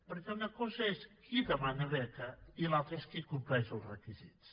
perquè una cosa és qui demana beca i l’altra és qui en compleix els requisits